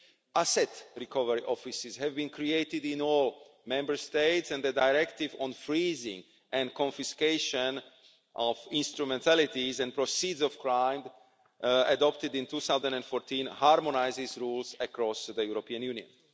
Asset recovery offices have been created in all Member States, and the Directive on Freezing and Confiscation of Instrumentalities and Proceeds of Crime, adopted in 2014, harmonises these rules across the European Union.